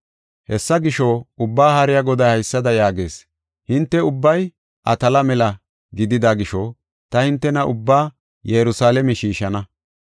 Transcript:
Hessa gisho, Ubbaa Haariya Goday haysada yaagees; ‘Hinte ubbay atala mela gidida gisho ta hintena ubbaa Yerusalaame shiishana.